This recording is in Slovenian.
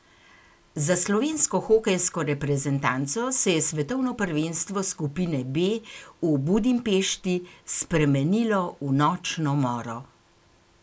Za slovensko hokejsko reprezentanco se je svetovno prvenstvo skupine B v Budimpešti spremenilo v nočno moro.